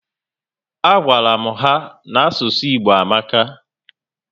A gwara m ha n'asụsụ Igbo amaka